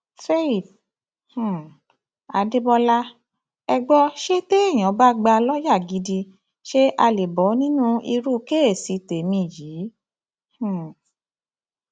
faith um adébọlá ẹ gbọ ṣe téèyàn bá gbà lọọyà gidi ṣé àá lè bọ nínú irú kèèṣì tẹmí yìí um